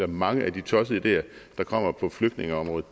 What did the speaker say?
mange af de tossede ideer der kommer på flygtningeområdet